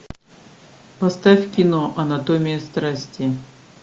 поставь кино анатомия страсти